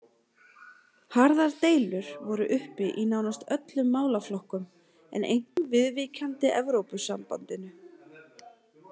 Harðar deilur voru uppi í nánast öllum málaflokkum, en einkum viðvíkjandi Evrópusambandinu.